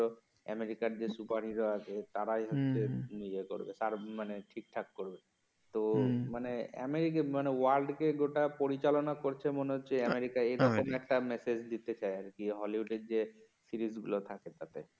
আমেরিকার যে super hero আছে তারাই হচ্ছে ইয়ে করবে তারাই ঠিকঠাক করবে তো মানে আমেরিকা মানে ওয়ার্ল্ডকে গোটা পরিচালনা করছে মনে হচ্ছে আমেরিকা এরকম একটা মেসেজ দিতে চায় আর কি যে হলিউডের যে সিরিজ গুলো থাকে তাতে